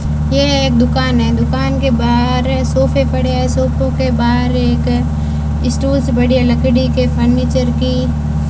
यह एक दुकान है दुकान के बाहर सोफे पड़े है सोफो के बाहर एक स्टूलस बढ़िया लकड़ी के फर्नीचर की।